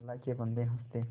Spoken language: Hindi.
अल्लाह के बन्दे हंस दे